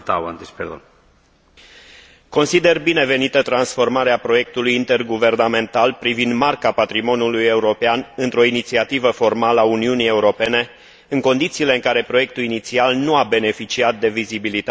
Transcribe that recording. Consider binevenită transformarea proiectului interguvernamental privind Marca patrimoniului european într o inițiativă formală a Uniunii Europene, în condițiile în care proiectul inițial nu a beneficiat de vizibilitatea și prestigiul pe care le merita.